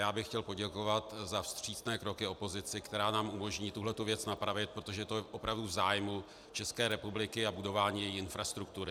Já bych chtěl poděkovat za vstřícné kroky opozici, která nám umožní tuhle věc napravit, protože je to opravdu v zájmu České republiky a budování její infrastruktury.